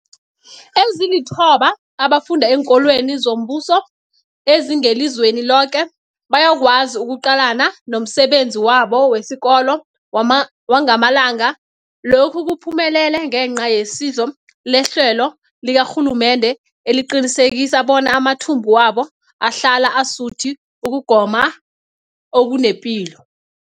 Ezilithoba abafunda eenkolweni zombuso ezingelizweni loke bayakwazi ukuqalana nomsebenzi wabo wesikolo wangamalanga. Lokhu kuphumelele ngenca yesizo lehlelo likarhulumende eliqinisekisa bona amathumbu wabo ahlala asuthi ukugoma okunepilo.